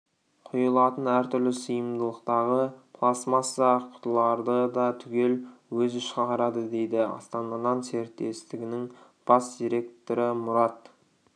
құйылатын әртүрлі сыйымдылықтағы пластмасса құтыларды да түгел өзі шығарады дейді астана-нан серіктестігінің бас директоры мұрат